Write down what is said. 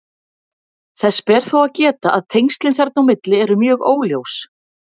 Þess ber þó að geta að tengslin þarna á milli eru mjög óljós.